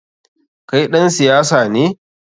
Kai ɗan siyasa ne?